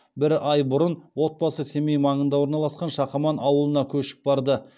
бір ай бұрын отбасы семей маңында орналасқан шақаман ауылына көшіп барды